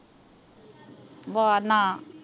ਆਵਾਜ਼ ਨਾ